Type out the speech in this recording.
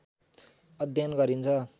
अध्ययन गरिन्छ।